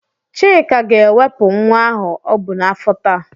Chika ga-ewepụ nwa ahụ ọ bụ n'afọ taa.